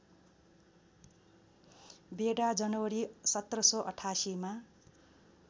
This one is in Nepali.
बेडा जनवरी १७८८ मा